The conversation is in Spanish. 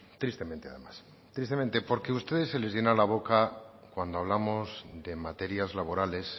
tristemente además tristemente porque a ustedes se les llena la boca cuando hablamos de materias laborales